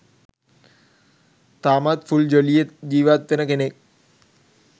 තාමත් ෆුල් ජොලියේ ජීවත් වෙන කෙනෙක්.